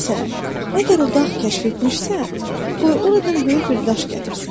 Məsələn, əgər o dağ kəşf etmişsə, qoy oradan böyük bir daş gətirsin.